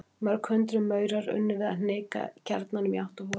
Mörg hundruð maurar unnu við að hnika kjarnanum í átt að holunni.